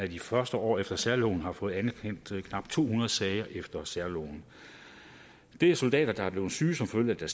de første år efter særloven har fået anerkendt knap to hundrede sager efter særloven det er soldater der er blevet syge som følge af